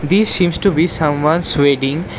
This seems to be someone's wedding.